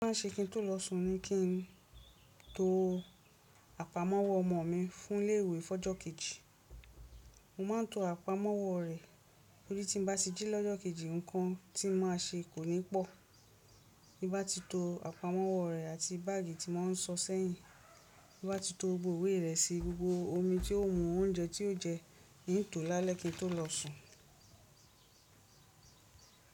Ó má ń ṣe kí n tó lọ sùn ni kí n to àpamọ́wọ́ ọmọ mi fún ilé ìwé fọ́jọ́ kejì. Mo má ń to àpamọ́wọ́ rẹ̀ torí tí n bá ti jí lọ́jọ́ kejì, nǹkan tí má ṣe kò ní pọ̀. Bí bá ti to àpamọ́wọ́ rẹ̀ àti báàgì tí màá sọ sẹ́yìn, bí bá ti to gbogbo ìwé rẹ̀ sí, gbogbo omi tí ó ń mu, oúnjẹ tí ó jẹ ní ń to lálẹ́ kí n tó lọ sùn.